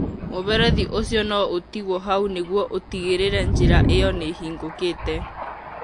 Mũberethi ũcio no ũtigwo hau nĩguo ũtigĩrĩre njĩra ĩyo nĩ ĩhingũkĩte.